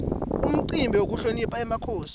umcimbi wekuhlonipha emakhosi